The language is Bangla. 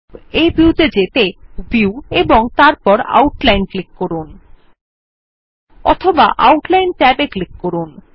এই ভিউ ত়ে যেতে আপনি ভিউ এবং তারপর আউটলাইন ক্লিক করুন অথবা আউটলাইন ট্যাবে ক্লিক করুন